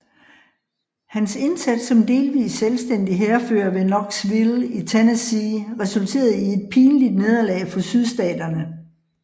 Hans indsats som delvis selvstændig hærfører ved Knoxville i Tennessee resulterede i et pinligt nederlag for Sydstaterne